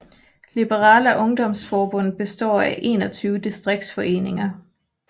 Liberala ungdomsförbundet består af 21 distriktsforeninger